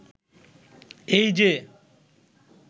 এই যে